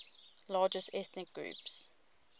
largest ethnic groups